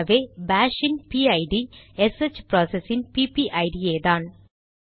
ஆகவே பாஷ் இன் பிஐடிPID எஸ்ஹெச் ப்ராசஸ் இன் பிபிஐடிPPID யேதான்